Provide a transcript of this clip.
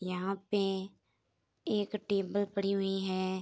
यहां पे एक टेबल पड़ी हुई है।